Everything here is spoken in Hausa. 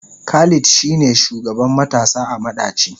Khalid shine shugaban matasa a madaci.